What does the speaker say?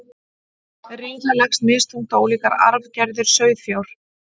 riða leggst misþungt á ólíkar arfgerðir sauðfjár